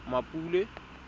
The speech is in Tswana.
mmapule